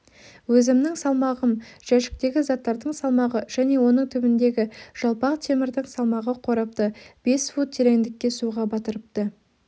өзімнің салмағым жәшіктегі заттардың салмағы және оның түбіндегі жалпақ темірдің салмағы қорапты бес фут тереңдікке суға батырыпты